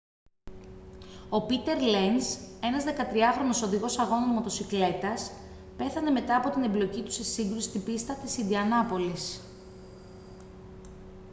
ο πήτερ λενζ ένας 13χρονος οδηγός αγώνων μοτοσικλέτας πέθανε μετά από την εμπλοκή του σε σύγκρουση στην πίστα της ιντιανάπολις